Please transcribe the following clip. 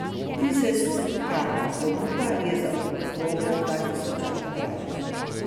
Dizelska ponudba je za okrogla dva tisočaka dražja.